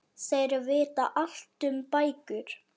Þeir vita allt um bækur.